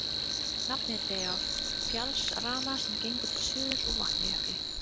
Nafnið er dregið af fjallsrana sem gengur til suðurs úr Vatnajökli.